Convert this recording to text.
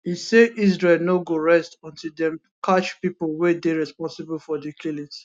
e say israel no go rest until dem catch pipo wey dey responsible for di killings